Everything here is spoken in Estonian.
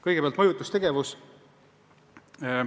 Kõigepealt, mõjutustegevus.